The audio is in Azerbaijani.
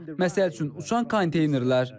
Məsəl üçün uçan konteynerlər.